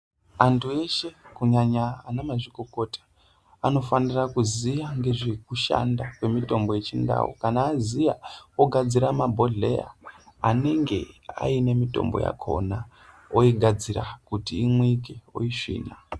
Antu weshe, kunyanya anamazvikokota anofanira kuziya ngezvekushanda kwemitombo yechindau ,kana aziya ogadzira mabhodleya anenge aine mitombo yakona, oyigadzira kuti inwike oyisvina.